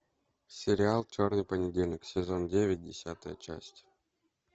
сериал черный понедельник сезон девять десятая часть